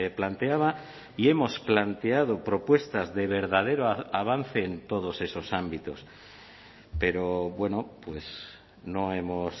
planteaba y hemos planteado propuestas de verdadero avance en todos esos ámbitos pero bueno pues no hemos